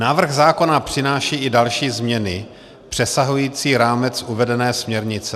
Návrh zákona přináší i další změny, přesahující rámec uvedené směrnice.